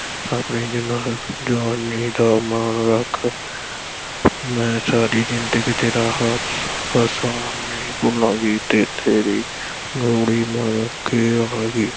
ਆਪਣੀ ਜੁਆਨੀ ਦਾ ਮਾਣ ਰੱਖ ਮੈਂ ਸਾਰੀ ਜ਼ਿੰਦਗੀ ਤੇਰਾ ਹਸ~ ਹਸਾਨ ਨਹੀਂ ਭੁੱਲਾਂਗੀ ਤੇ ਤੇਰੀ ਗੋਲੀ ਬਣ ਕੇ ਰਹਾਂਗੀ।